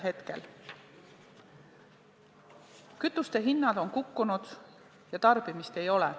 Kütuste hinnad on kukkunud ja tarbimist ei ole.